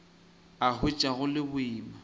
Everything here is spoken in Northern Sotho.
a hwetša go le boima